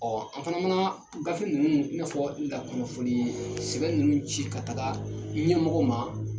Ɔ an fana mana gafe ninnu , i n'a fɔ lakunnafoni sɛbɛn ninnu ci ka taga ɲɛmɔgɔw ma